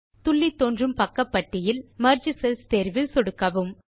துள்ளித்தோன்றும் பக்கப்பட்டியில் merge cells தேர்வில் சொடுக்கவும்